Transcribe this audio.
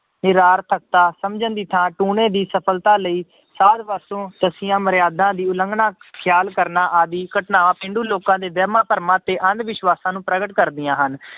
ਨਿਰਾਰਥਕਤਾ ਸਮਝਣ ਦੀ ਥਾਂ ਟੂਣੇ ਦੀ ਸਫ਼ਲਤਾ ਲਈ ਸਾਧ ਪਾਸੋਂ ਦੱਸੀਆਂ ਮਰਿਆਦਾਂ ਦੀ ਉਲੰਘਣਾ ਖਿਆਲ ਕਰਨਾ ਆਦਿ ਘਟਨਾਵਾਂ ਪੇਂਡੂ ਲੋਕਾਂ ਦੇ ਵਹਿਮਾਂ ਭਰਮਾਂ ਤੇ ਅੰਧ ਵਿਸ਼ਵਾਸਾਂ ਨੂੰ ਪ੍ਰਗਟ ਕਰਦੀਆਂ ਹਨ।